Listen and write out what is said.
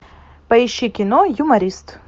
поищи кино юморист